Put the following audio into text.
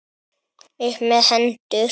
Upp með hendur!